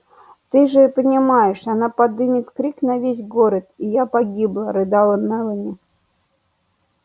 ты же понимаешь она подымет крик на весь город и я погибла рыдала мелани